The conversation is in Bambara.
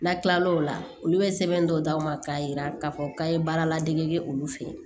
N'a tilal'o la olu bɛ sɛbɛn dɔw d'aw ma k'a yira k'a fɔ k'a ye baara ladege olu fe ye